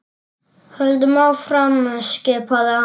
Höldum áfram skipaði hann.